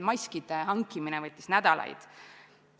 Maskidegi hankimine võttis nädalaid.